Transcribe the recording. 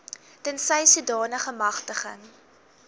tensy sodanige magtiging